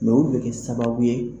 u be kɛ sababu ye